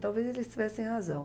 Talvez eles tivessem razão.